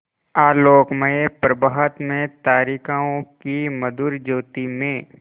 आलोकमय प्रभात में तारिकाओं की मधुर ज्योति में